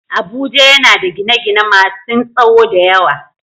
Abuja yana da gine-gine masun tsawo da yawa.